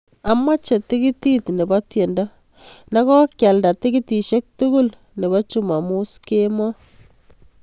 Amache tikitit nebo tiendo negokialda tikitishek tugul nebo chumamoos kemoi